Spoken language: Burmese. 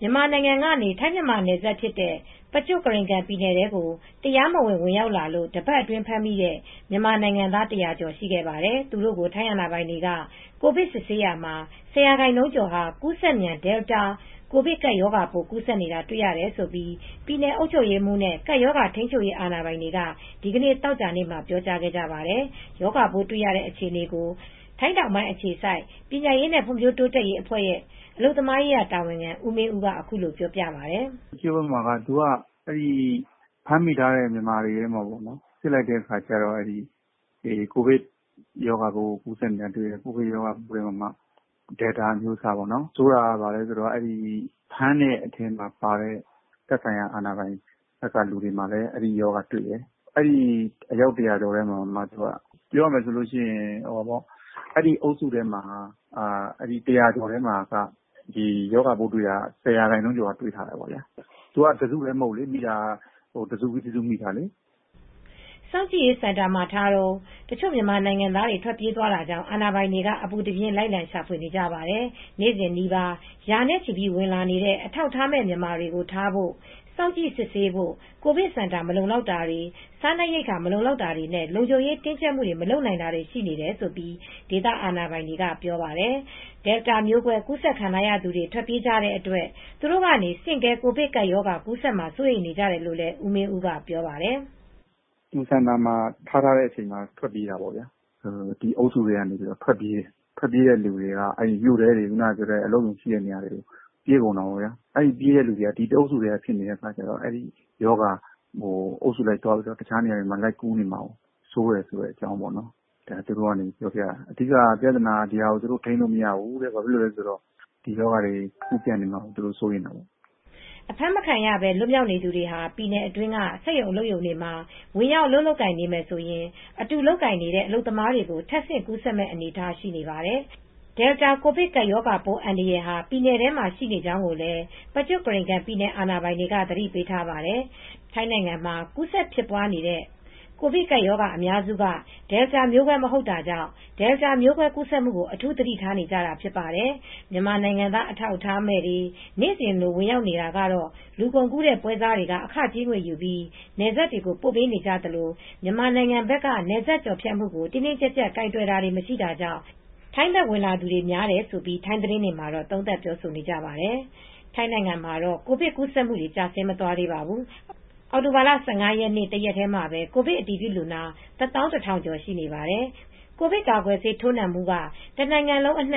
မြန်မာနိုင်ငံကနေ ထိုင်း-မြန်မာနယ်စပ် Prachuap Khiri Khan ပြည်နယ်ထဲကို တရားမဝင် ဝင်ရောက်သူတွေထဲက တပတ်အတွင်းဖမ်းမိသူတွေကို ထိုင်းအာဏာပိုင်တွေက ကိုဗစ်ဆေးစစ်ရာမှာ ၁၀% ကျော်ဟာ ကူးစက်မြန် Delta ကိုဗစ်ကပ်ရောဂါပိုး ကူးစက်နေတာ တေ့ွရတယ်လို့ ပြည်နယ်အုပ်ချုပ်ရေးနဲ့ ကပ်ရောဂါထိန်းချုပ်ရေးအာဏာပိုင်တွေက ဒီနေ့ သောကြာနေ့မှာ ပြောတာပါ။ ရောဂါပိုးတွေ့နေတဲ့ အခြေအနေကို ထိုင်းတောင်ပိုင်းအခြေစိုက် ပညာရေးနဲ့ ဖွံ့ဖြိုးတိုးတက်ရေးအဖွဲ့ရဲ့ အလုပ်သမားရေးရာတာဝန်ခံ ဦးမင်းဦးကပြောပါတယ်။ "Prachuap Khiri Khan ဘက်မှာက ဖမ်းမိထားတဲ့မြန်မာတွေကို စစ်လိုက်တဲ့အခါ ကိုဗစ်ရောဂါကူးစက်နေတာတွေတယ် တွေ တဲ့နေရာမှာ Delta မျိုးကွဲ အမျိုးအစားတွေ တယ် ဆိုးတာက ဖမ်းတဲ့အထဲမှာပါတဲ့ သက်ဆိုင်ရာအာဏာပိုင်ထဲမှာလည်း အဲဒီ ရောဂါတွေ့တယ်။ အဲဒီ အယောက် ၁၀၀ ကျော်ထဲမှာ အဲဒီအုပ်စုထဲမှာရောဂါပိုးတွေ့တာက ၁၀% ကျော်ကတွေ့တယ်။ တစုတည်းမဟုတ်ဘူး။ မိတာက တစုပြီးတစု မိတာ။" စောင့်ကြည့်ရေးစင်တင်မှာထားတုန်း တချို့ မြန်မာနိုင်ငံသားတွေ ထွက်ပြေးသွားတာကြောင့် အာဏာပိုင်တွေက အပူတပြင်း လိုက်ရှာနေပါတယ်။ နေ့စဉ်နီးပါး ရာနဲ့ချီပြီး ဝင်လာနေတဲ့ အထောက်အထားမဲ့ မြန်မာတွေကို ထားဖို့၊ စောင့်ကြည့်စစ်ဆေးဖို့၊ ကိုဗစ်စင် တာ မလုံလောက်တာ၊ စားနပ်ရိက္ခာမလုံလောက်တာနဲ့ လုံခြုံရေးကို တင်းတင်းကြပ်ကြပ် မလုပ်နိုင်တွေရှိနေတယ် လို့ ဒေသအာဏာပိုင်တွေက ပြောပါတယ်။ Delta မျိုးကွဲ ကူးစက်ခံထားရသူတွေ ထွက်ပြေးကြတဲ့အတွက် သူတို့ ကနေ ဆင့်ကဲ ကိုဗစ်ကပ်ရောဂါ ကူးစက်မှာ စိုးရိမ်နေကြတယ်လို့ ဦးမင်းဦးက ပြောပြပါတယ်။ "စောင့်ကြည့်ရေးစင်တာမှာ ထားတဲ့အချိန်မှာ ထွက်ပြေးကြတာ။ ထွက်ပြေးတဲ့လူတွေက မြို့ထဲတွေ အလုပ်ရုံတွေ ရှိတဲ့နေရာတွေကို ထွက်ပြေးကြတာ။ ပြေးတဲ့သူတွေက တအုပ်စုထဲဖြစ်နေလို့။ ရောဂါက အုပ်စုလိုက်သွားပြီး တခြားနေရာတွေမှာ ပြေးနေမှာကိုစိုးရိမ်တယ်။ သူတို့ပြောတာက အဓိက ပြဿနာ ရောဂါထိန်းမရဘဲ ကူးစက်ပြန့်ပွားလာမှာကို စိုးရိမ်တယ်လို့ပြောတယ်။" အဖမ်းမခံရဘဲ လွတ်မြောက်နေသူတွေဟာ ပြည်နယ်အတွင်းက စက်ရုံအလုပ်ရုံတွေမှာ ဝင်ရောက်လုပ်ကိုင်နေတယ် ဆိုရင် အတူလုပ်ကိုင်နေကြတဲ့ အလုပ်သမားကို ထပ်ဆင့်ကူးစက်မယ့် အနေအထားဖြစ်နေပါတယ်။ ပြည်နယ်တွင်းမှာ Delta ကိုဗစ်ကပ်ရောဂါပိုးအန္တရာယ် ရှိနေကြောင်းကိုလည်း Prachuap Khiri Khan ပြည်နယ်အာဏာပိုင်တွေက သတိပေးထားပါတယ်။ ထိုင်းနိုင်ငံမှာ ကူးစက်ဖြစ်ပွားနေတဲ့ ကိုဗစ်ကပ်ရောဂါအများစုက Delta မျိုးကွဲ မဟုတ်တာကြောင့် Deltaမျိုးကွဲကူးစက်မှုကို အထူးသတိထားနေကြတာပါ။ မြန်မာနိုင်ငံသား အထောက်အထားမဲ့တွေ နေ့စဉ်လို ဝင်ရောက်လာနေတာကတော့လူကုန်ကူးပွဲစားတွေက အခကြေးငွေယူပြီး နယ်စပ်တွေကို ပို့ပေးနေကြသလို မြန်မာနိုင်ငံဘက်က နယ်စပ်ကျော်ဖြတ်မှုကို တင်းတင်းကြပ်ကြပ်ကိုင်တွယ်တာ မရှိတာကြောင့် ထိုင်းဘက် ဝင်လာသူတွေများတယ်လို့ ထိုင်းသတင်းတွေမှာ သုံးသပ်ပြောဆိုကြပါတယ်။ ထိုင်းနိုင်ငံမှာတော့ ကိုဗစ်ကူးစက်မူတွေက ကျဆင်းမသွားသေးပါဘူး။ အောက်တိုဘာလ ၁၅ ရက်မှာ ကိုဗစ်အတည်ပြုလူနာ ၁၁,၀၀၀ ကျော် ရှိပါတယ်။ နိုင်ငံတဝန်း ကိုဗစ်ကာကွယ်ဆေးထိုးပြီးသူ ၅၀% လောက်ရှိပြီလို့ ထိုင်း